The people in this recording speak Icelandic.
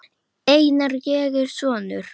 Einar, ég er sonur.